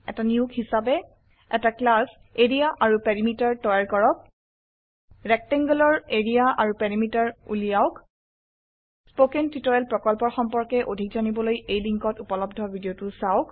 এটা নিয়োগ হিসাবে এটা ক্লাছ এৰিয়া আৰু পেৰিমিটাৰ তৈয়াৰ কৰক rectangleৰ এৰিয়া আৰু পেৰিমিটাৰ উলিয়াওক স্পোকেন টিউটোৰিয়েল প্ৰকল্পৰ সম্পৰ্কে অধিক জানিবলৈ লিঙ্কত উপলব্ধ ভিডিওটো চাওক